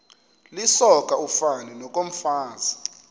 lisoka ufani nokomfazi